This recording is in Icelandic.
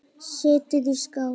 Setjið í skál.